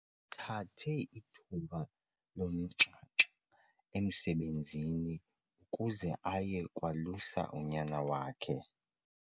Uthathe ithuba lomnxanxa emsebenzini ukuze aye kwalusa unyana wakhe.